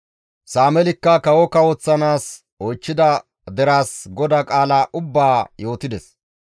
Sameelikka kawo kawoththanaas oychchida deraas GODAA qaala ubbaa yootides.